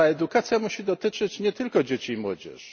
Ale ta edukacja musi dotyczyć nie tylko dzieci i młodzieży.